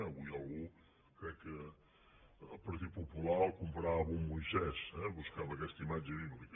avui algú crec que el partit popular el comparava amb un moisès eh buscava aquesta imatge bíblica